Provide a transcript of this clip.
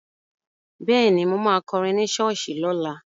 Bẹ́ẹ̀ni, mo ma kọrin ní ṣọ́ọ̀ṣì lọ́la